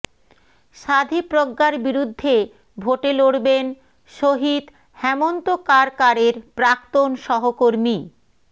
স্বাধী প্রজ্ঞার বিরুদ্ধে ভোটে লড়বেন শহিদ হেমন্ত কারকারের প্রাক্তন সহকর্মী